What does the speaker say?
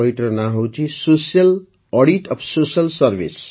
ବହିଟିର ନାଁ ହେଲା social audit of social Serviceö